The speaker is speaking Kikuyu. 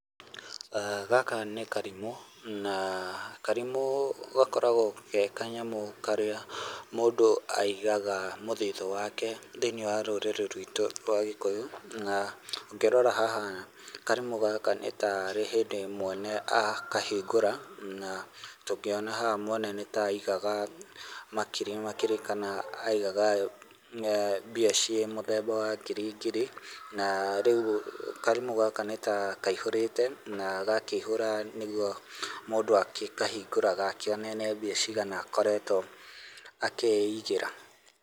Gaka nĩ karimũ na karimũ gakoragwo ge ka kanyamũ karĩa mũndũ aigaga mũthitho wake thĩini wa rũrĩrĩ ruitũ rwa Gĩkũyũ, na ũngĩrora haha karimũ gaka nĩta rĩ hĩndĩ mwene akahingũra na tũngĩona haha mwene nĩta aigaga makiri makiri kana aigaga mbia ciĩ mũthemba wa ngiri ngiri na rĩu karimũ nĩtakaihũrĩte na gakĩihũra nĩguo mũndũ agĩkahingũraga akĩone nĩ mbeca cigana akoretwo akĩigĩra.